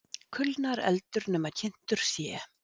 Kulnar eldur nema kyntur sé.